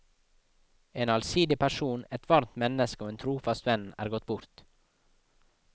En allsidig person, et varmt menneske og en trofast venn er gått bort.